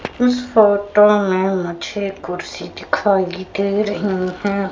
इस फोटो में मुझे कुर्सी दिखाई दे रही है।